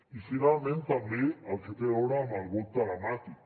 i finalment també el que té a veure amb el vot telemàtic